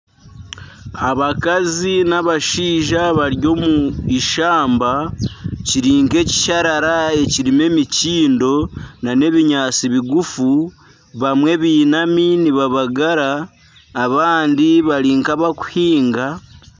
Abakazi b'abashaija bari omu ishamba kiri nka ekisharara ekirimu emikyindo nana ebinyaatsi bigufu. Bamwe bainami nibabagara, abandi bari nk'abari kuhiinga.